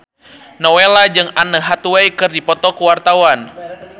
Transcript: Nowela jeung Anne Hathaway keur dipoto ku wartawan